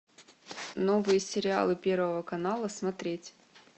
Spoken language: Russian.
новые сериалы первого канала смотреть